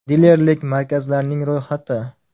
Dilerlik markazlarining ro‘yxati: .